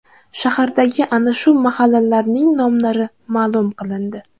Shahardagi ana shu mahallalarning nomlari ma’lum qilindi .